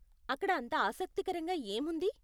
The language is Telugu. అక్కడ అంత ఆసక్తికరంగా ఏముంది?